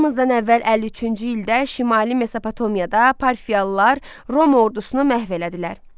Eramızdan əvvəl 53-cü ildə şimali Mesopotamiyada parfiyalılar Roma ordusunu məhv elədilər.